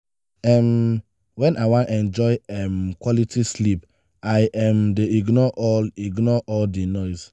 um wen i wan enjoy um quality sleep i um dey ignore all ignore all di noise.